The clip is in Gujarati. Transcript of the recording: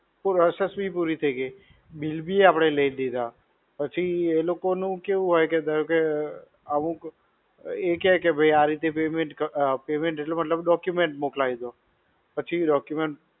Process બી પુરી થઇ ગઈ, bill બી આપણે લઇ લીધા, પછી એલોકોનું કેવું હોય કે ધારો કે અમુક, એ કેય કે આ રીતે payment, payment એટલે મતલબ document મોકલાઈ દો. પછી document